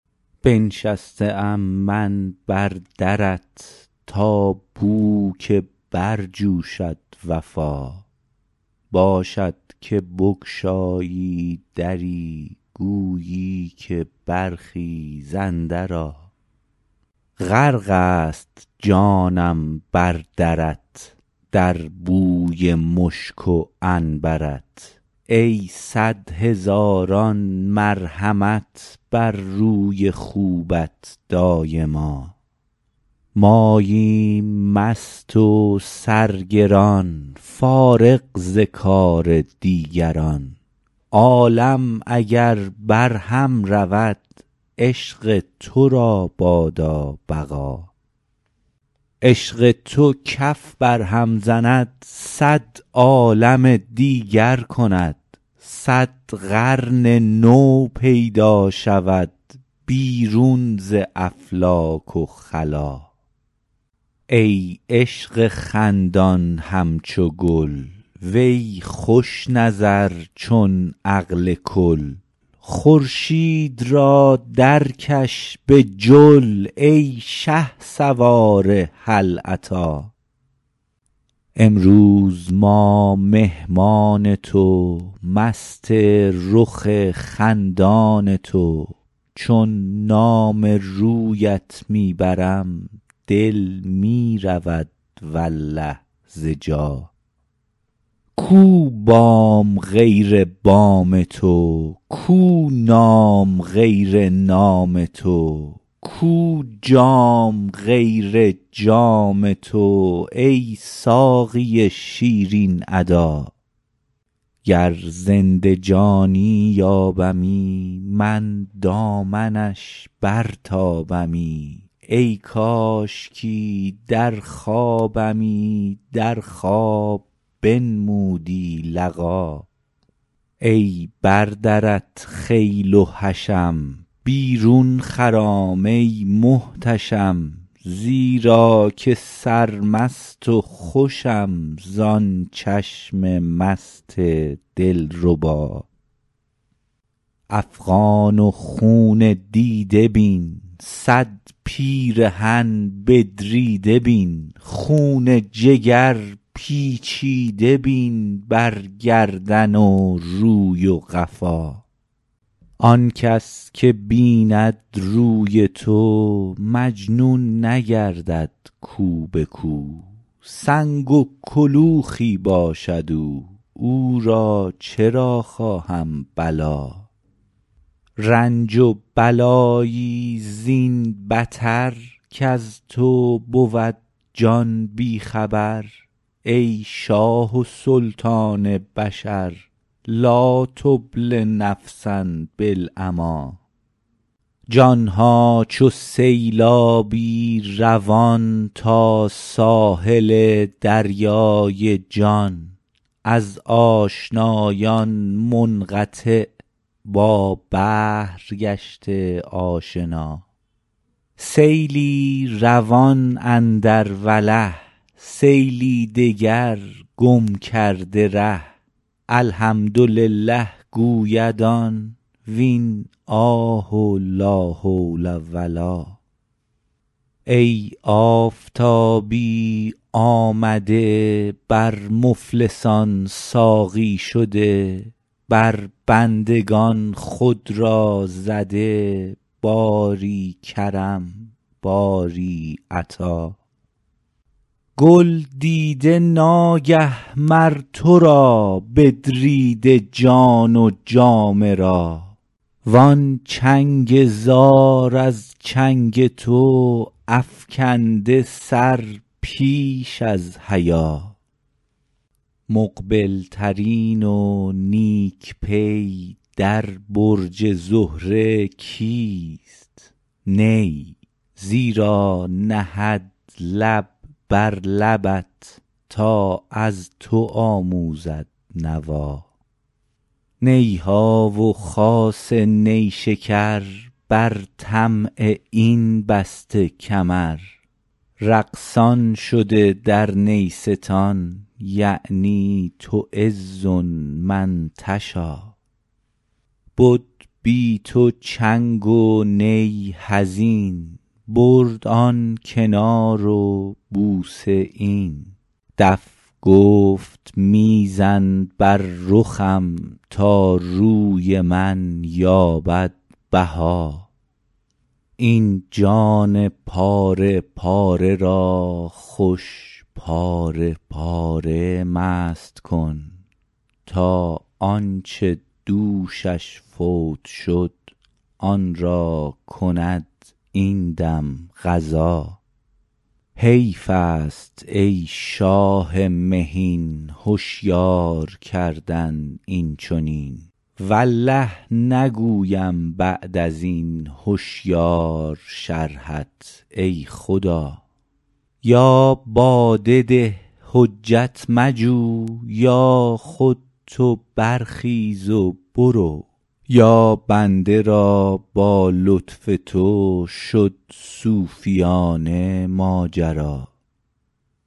بنشسته ام من بر درت تا بوک برجوشد وفا باشد که بگشایی دری گویی که برخیز اندرآ غرق ست جانم بر درت در بوی مشک و عنبر ت ای صد هزاران مرحمت بر روی خوبت دایما ماییم مست و سرگران فارغ ز کار دیگران عالم اگر برهم رود عشق تو را بادا بقا عشق تو کف برهم زند صد عالم دیگر کند صد قرن نو پیدا شود بیرون ز افلاک و خلا ای عشق خندان همچو گل وی خوش نظر چون عقل کل خورشید را درکش به جل ای شهسوار هل اتی امروز ما مهمان تو مست رخ خندان تو چون نام رویت می برم دل می رود والله ز جا کو بام غیر بام تو کو نام غیر نام تو کو جام غیر جام تو ای ساقی شیرین ادا گر زنده جانی یابمی من دامنش برتابمی ای کاشکی در خوابمی در خواب بنمودی لقا ای بر درت خیل و حشم بیرون خرام ای محتشم زیرا که سرمست و خوشم زان چشم مست دلربا افغان و خون دیده بین صد پیرهن بدریده بین خون جگر پیچیده بین بر گردن و روی و قفا آن کس که بیند روی تو مجنون نگردد کو به کو سنگ و کلوخی باشد او او را چرا خواهم بلا رنج و بلایی زین بتر کز تو بود جان بی خبر ای شاه و سلطان بشر لا تبل نفسا بالعمی جان ها چو سیلابی روان تا ساحل دریای جان از آشنایان منقطع با بحر گشته آشنا سیلی روان اندر وله سیلی دگر گم کرده ره الحمدلله گوید آن وین آه و لا حول و لا ای آفتابی آمده بر مفلسان ساقی شده بر بندگان خود را زده باری کرم باری عطا گل دیده ناگه مر تو را بدریده جان و جامه را وان چنگ زار از چنگ تو افکنده سر پیش از حیا مقبل ترین و نیک پی در برج زهره کیست نی زیرا نهد لب بر لبت تا از تو آموزد نوا نی ها و خاصه نیشکر بر طمع این بسته کمر رقصان شده در نیستان یعنی تعز من تشا بد بی تو چنگ و نی حزین برد آن کنار و بوسه این دف گفت می زن بر رخم تا روی من یابد بها این جان پاره پاره را خوش پاره پاره مست کن تا آن چه دوشش فوت شد آن را کند این دم قضا حیف است ای شاه مهین هشیار کردن این چنین والله نگویم بعد از این هشیار شرحت ای خدا یا باده ده حجت مجو یا خود تو برخیز و برو یا بنده را با لطف تو شد صوفیانه ماجرا